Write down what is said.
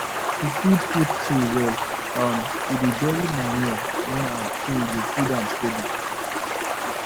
to feed fruit tree well um we dey bury manure near am so e go feed am steady